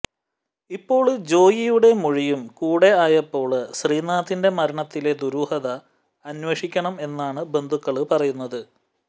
ഇപ്പോള് ജോയിയുടെ മൊഴിയും കൂടെ ആയപ്പോള് ശ്രീനാഥിന്റെ മരണത്തിലെ ദുരൂഹത അന്വേഷിക്കണം എന്നാണ് ബന്ധുക്കള് പറയുന്നത്